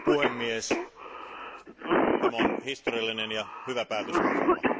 Arvoisa puhemies, tämä on historiallinen ja hyvä päätöslauselma.